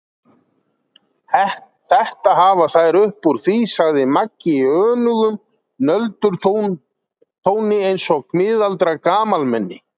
Þetta hafa þær upp úr því, sagði Maggi í önugum nöldurtóni eins og miðaldra gamalmenni.